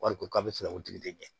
Wari ko bɛ fɛ ka o tigi de ɲɛ